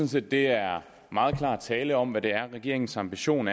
set det er meget klar tale om hvad der er regeringens ambition